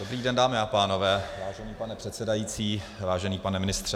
Dobrý den, dámy a pánové, vážený pane předsedající, vážený pane ministře.